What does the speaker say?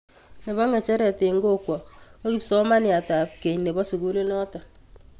Nepo ng'echeret eng' kokwo ko kipsomaniat ap keny nepo sukuli notok